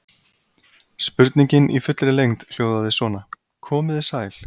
Spurningin í fullri lengd hljóðaði svona: Komið þið sæl.